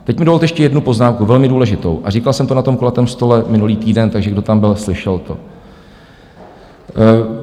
Teď mi dovolte ještě jednu poznámku, velmi důležitou, a říkal jsem to na tom kulatém stolu minulý týden, takže kdo tam byl, slyšel to.